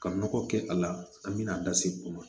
Ka nɔgɔ kɛ a la an bɛ na da se o ma